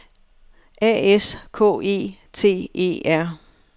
A S K E T E R